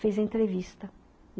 fez a entrevista.